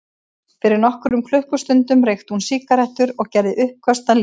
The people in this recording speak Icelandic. Fyrir nokkrum klukkustundum reykti hún sígarettur og gerði uppköst að lífinu.